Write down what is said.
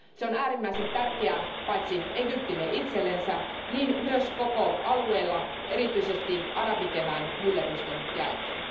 Se on äärimmäisen tärkeää paitsi Egyptille itsellensä niin myös koko alueelle erityisesti arabikevään myllerrysten jälkeen.